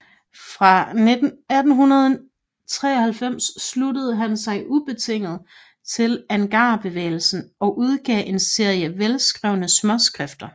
Fra 1893 sluttede han sig ubetinget til agrarbevægelsen og udgav en serie velskrevne småskrifter